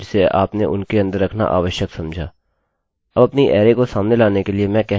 अब अपनी अरैarrayको सामने लाने के लिए मैं कहने जा रहा हूँ echo days